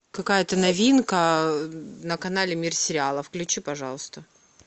какая то новинка на канале мир сериалов включи пожалуйста